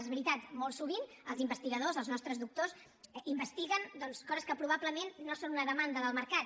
és veritat molt sovint els investigadors els nostres doctors investiguen coses que probablement no són una demanda del mercat